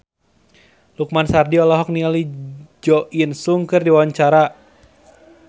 Lukman Sardi olohok ningali Jo In Sung keur diwawancara